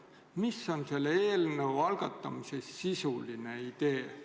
Mis on selle eelnõu algatamise sisuline idee?